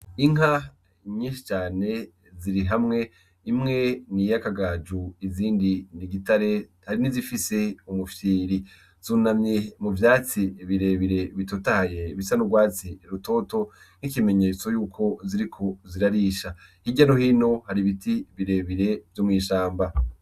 Inka nyinshi cane ziri hamwe imwe niy'akagaju izindi n'igitare hari nizifise ubufyiri . Zunamye mu vyatsi birebire bitotahaye bisa n'urwatsi rutoto n'ikimenyetso yuko ziriko zirarisha .Hirya no hino har'ibiti birebire vyo mw'ishamba.